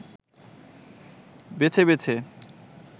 বেছে বেছে